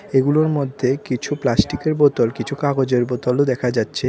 এগুলোর মধ্যে কিছু প্লাস্টিকের বোতল কিছু কাগজের বোতলও দেখা যাচ্ছে।